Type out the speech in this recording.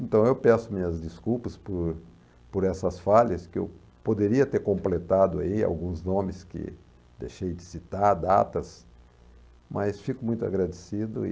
Então eu peço minhas desculpas por por essas falhas, que eu poderia ter completado aí alguns nomes que deixei de citar, datas, mas fico muito agradecido e